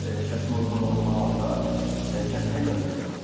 Əgər kəsimə uyğun olduğu halda kəsməyə icazə verir.